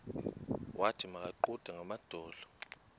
wathi makaguqe ngamadolo